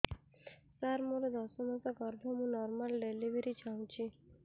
ସାର ମୋର ଦଶ ମାସ ଗର୍ଭ ମୁ ନର୍ମାଲ ଡେଲିଭରୀ ଚାହୁଁଛି